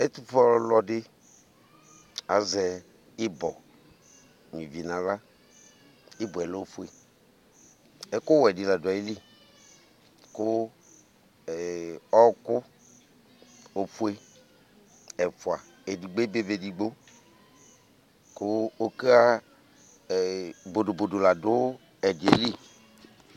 Ɛtufue ɔlɔdɩ azɛ ɩbɔ n'ivi n'aɣla Ɩbọɛ lɛ ofue ,ɛkʋ wɛ dɩ lai dʋ ayili Kʋ ee ɔɔkʋ ofue ɛfʋa edigbo ebe ba efigbo Kʋ ɔka ee bodobodo la dʋ ǝdɩɛ li